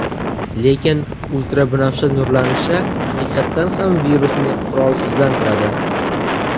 Lekin ultrabinafsha nurlanishi haqiqatan ham virusni qurolsizlantiradi.